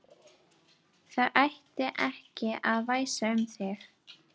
Það ætti ekki að væsa um þig.